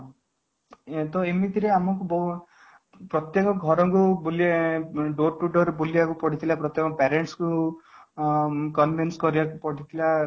ତ ଏମିତି ରେ ଆମକୁ ପ୍ରତ୍ୟେକ ଘର କୁ door to door ବୁଲିବାକୁ ପଡିଥିଲା ପ୍ରଥମେ parents କୁ convince କରିବାକୁ ପଡିଥିଲା